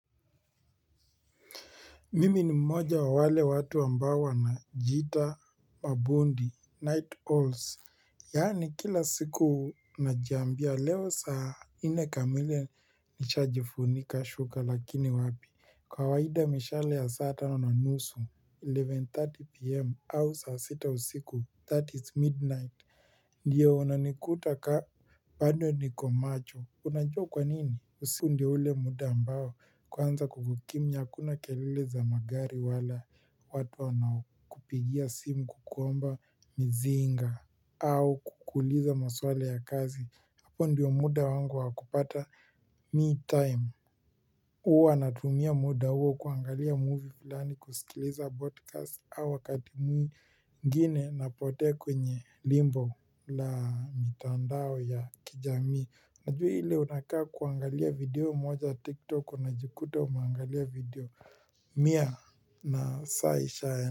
Mimi ni mmoja wa wale watu ambao wanajiita mabundi, night owls, yaani kila siku najiambia, leo saa nne kamili nishajifunika shuka lakini wapi, kawaida mishale ya saa tano na nusu, eleven thirty pm, au saa sita usiku, that is midnight, ndio unanikuta kaa, bado niko macho, unajua kwa nini? Usiku ndio ule muda ambao kwanza kumekimya hakuna kelele za magari wala watu wanakupigia simu kukuomba mzinga au kukuuliza maswali ya kazi hapo ndio muda wangu wakupata me time huwa natumia muda huo kuangalia movie fulani kusikiliza podcast au wakati mwingine napotea kwenye nyimbo na mtandao ya kijamii. Unajua ile unakaa kuangalia video moja tiktok unajikuta umeangalia video mia na saa isha.